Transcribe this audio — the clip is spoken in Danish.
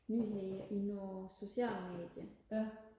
nyheder i nogle sociale medier